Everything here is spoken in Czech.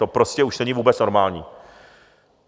To prostě už není vůbec normální.